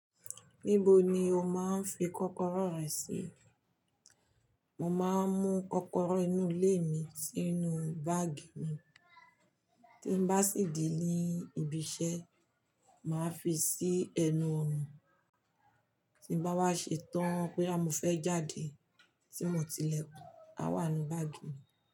Níbo ni o máa ń fi kọ́kọ́rọ́ rẹ sí? Mo máa ń mú kọ́kọ́rọ́ inú ilé mi sínú báàgì mi, tí n bá sì de ní ibi iṣẹ́, màá fi sí ẹnu ọ̀nà, tí n bá wá ṣe tán boya fẹ́ jáde tí mo ti ilekún, a wà nínú báàgì mi.